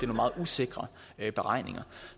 meget usikre beregninger